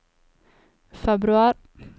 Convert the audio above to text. februar